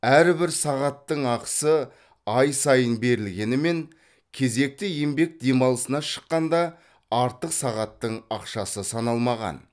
әрбір сағаттың ақысы ай сайын берілгенімен кезекті еңбек дамалысына шыққанда артық сағаттың ақшасы саналмаған